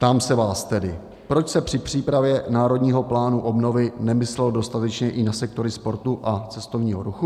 Ptám se vás tedy, proč se při přípravě Národního plánu obnovy nemyslelo dostatečně i na sektory sportu a cestovního ruchu?